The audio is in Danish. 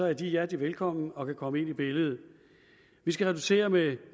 er de hjertelig velkommen og kan komme ind i billedet vi skal reducere med